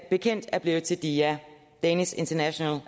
bekendt er blevet til dia danish international